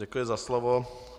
Děkuji za slovo.